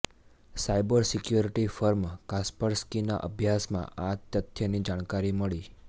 cyber security firm કાસ્પરસ્કીના અભ્યાસમાં આ તથ્યની જાણકારી મળી